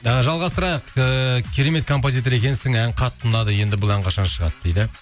і жалғастырайық ііі керемет композитор екенсің ән қатты ұнады енді бұл ән қашан шығады дейді